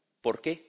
¿Por qué?